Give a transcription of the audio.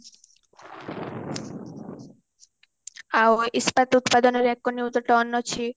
ଆଉ ଇସ୍ପାତ ଉତ୍ପାଦନ ଏକ ନିୟୁତ ଟନ ଅଛି